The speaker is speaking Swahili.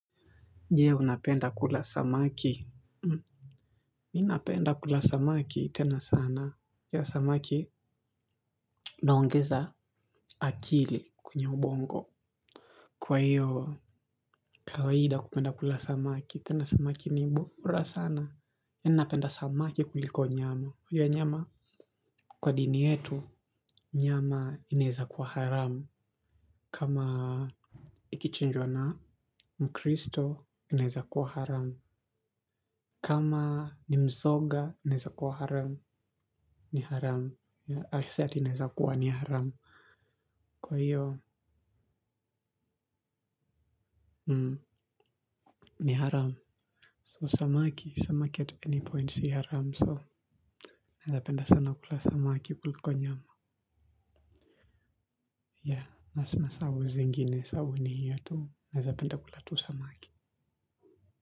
Je unapenda kula samaki. Mi napenda kula samaki tena sana. Pia samaki inaongeza akili kwenye ubongo. Kwa hiyo iyo, kawaida kupenda kula samaki tena samaki ni bora sana. Mi napenda samaki kuliko nyama. Kwa dini yetu, nyama inaeza kuwa haramu. Kama ikichinjwa na mkristo inaeza kuwa haramu. Kama ni mzoga inaeza kuwa haramu. Ni haramu si ati inawezakuwa haramu mmmm ni haramu so samaki samaki at any point si haramu so napenda sana kula samaki kuliko nyama ya na sina sau zingine sau ni hiyo tu naeza penda kula tu samaki.